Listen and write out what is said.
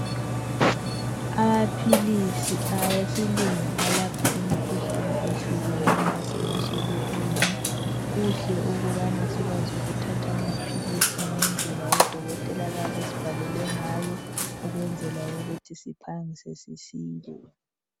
amaphilisi awesilungu alapha imikhuhlane ehlukeneyo asemashelufini kuhle ukubana sikwazi ukuthatha amaphilisi ngendlela odokotela abayabe besibhalele ngayo ukwenzela ukuthi siphangise sisile